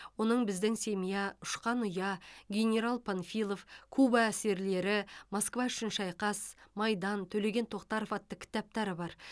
оның біздің семья ұшқан ұя генерал панфилов куба әсерлері москва үшін шайқас майдан төлеген тоқтаров атты кітаптары бар